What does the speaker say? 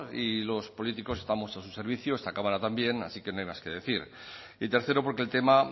y los políticos estamos a su servicio está cámara también así que no hay más que decir y tercero porque el tema